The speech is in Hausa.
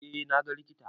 Eh na ga likita.